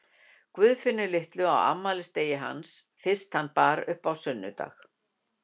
Guðfinnu litlu á afmælisdegi hans fyrst hann bar upp á sunnudag.